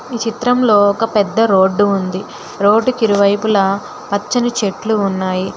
ఈ చిత్రం లో ఒక పెద్ద రోడ్డు ఉంది రోడ్ కిరువైపులా పచ్చని చెట్లు ఉన్నాయి.